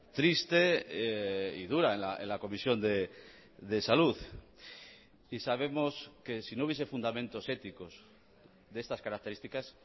triste y dura en la comisión de salud y sabemos que si no hubiese fundamentos éticos de estas características